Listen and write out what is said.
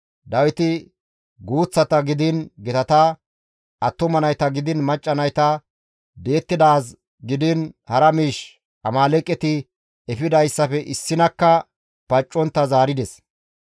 Dawiti guuththata gidiin gitata, attuma nayta gidiin macca nayta, di7ettidaaz gidiin hara miish, Amaaleeqeti efidayssafe issinakka paccontta zaarides.